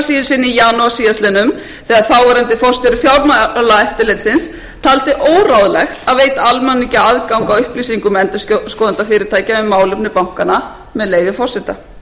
sinni á janúar síðastliðnum þegar þáverandi forstjóri fjármálaeftirlitsins taldi óráðlegt að veita almenningi aðgang að upplýsingum endurskoðunarfyrirtækja um málefni bankanna með leyfi forseta bíðum við almenningur á að